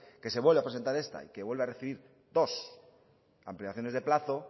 que se vuelve a presenta esta y que vuelve a recibir dos ampliaciones de plazo